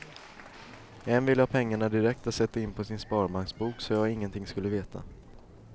En ville ha pengarna direkt att sätta in på sin sparbanksbok så jag ingenting skulle veta.